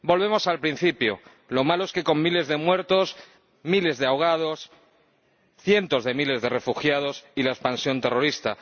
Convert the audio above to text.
Volvemos al principio, lo malo es que con miles de muertos, miles de ahogados, cientos de miles de refugiados y la expansión terrorista.